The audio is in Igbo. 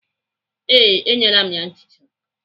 Ee, enyela m ya nchicha ya.